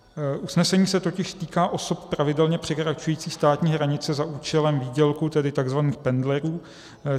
Usnesení se totiž týká osob pravidelně překračující státní hranice za účelem výdělku, tedy tzv. pendlerů.